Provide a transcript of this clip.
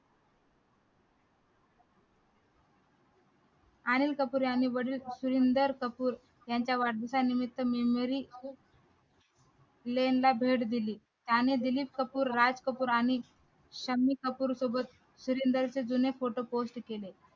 अनिल कपूर यांनी बरीच सुरिनदर कपुर यांच्या वाढदिवसानिमित्त भेट दिली त्याने दिलीप कपूर राज कपूर आणि शम्मी कपूर सोबत सुरिनदरचे जुने photo post केले